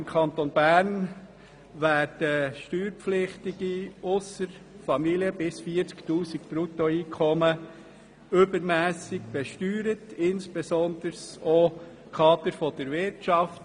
Im Kanton Bern werden Steuerpflichtige – ausser Familien – mit Bruttoeinkommen bis 40 000 Franken übermässig besteuert, insbesondere auch Kader der Wirtschaft.